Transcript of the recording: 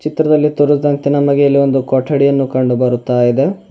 ಚಿತ್ರದಲ್ಲಿ ತೋರಿದಂತೆ ನಮಗೆ ಇಲ್ಲಿ ಒಂದು ಕೊಠಡಿಯನ್ನು ಕಂಡು ಬರುತ್ತಾಇದೆ.